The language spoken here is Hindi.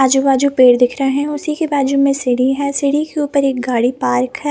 आजु बाजु पेड़ दिख रहे है उसी के बाजु में सीढ़ी है सीढ़ी के ऊपर एक गाड़ी पार्क है।